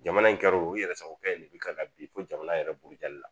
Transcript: Jamana in kɛr'o ye o i yɛrɛ sagokɛ de bɛ ka bi fo jamana yɛrɛ buguri jali la